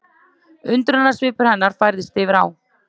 Undrunarsvipur hennar færðist yfir á